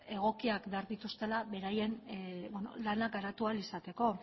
egokiak behar dituztela beraien lana garatu ahal izateko